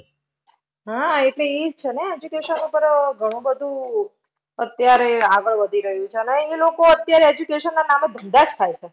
હા એટલે એ જ છેને, education ઉપર ઘણું બધું અત્યારે આગળ વધી રહ્યું છે. અને અહીંયા લોકો અત્યારે education ના નામે ધંધા જ થાય છે.